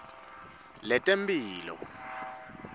letemphilo